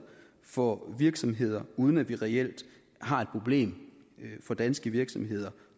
for virksomheder uden at vi reelt har et problem for danske virksomheder